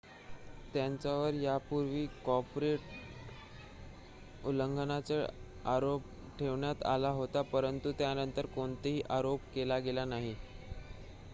त्यांच्यावर यापूर्वीही कॉपीराइट उल्लंघनाचा आरोप ठेवण्यात आला होता परंतु त्यांनतर कोणताही आरोप केला गेला नाही